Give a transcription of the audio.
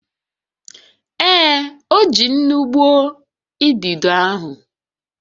Ee, o ji nnu gbuo idido ahụ